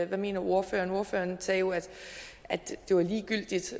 hvad mener ordføreren ordføreren sagde jo at det var ligegyldigt